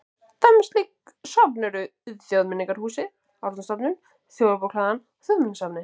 Dæmi um slík söfn eru Þjóðmenningarhúsið, Árnastofnun, Þjóðarbókhlaðan og Þjóðminjasafnið.